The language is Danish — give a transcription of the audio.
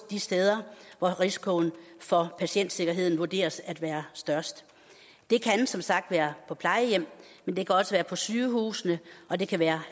de steder hvor risikoen for patientsikkerheden vurderes at være størst det kan som sagt være på plejehjem men det kan også være på sygehuse og det kan være